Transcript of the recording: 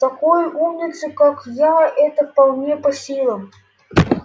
такой умнице как я это вполне по силам